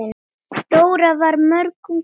Dóra var mörgum kostum búin.